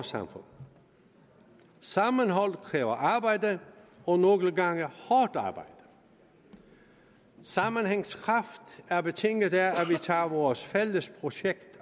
samfund sammenhold kræver arbejde og nogle gange hårdt arbejde sammenhængskraft er betinget af at vi tager vores fælles projekt